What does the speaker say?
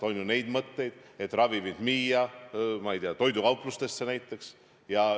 On ju neid mõtteid, et ravimeid müüa, ma ei tea, toidukauplustes näiteks.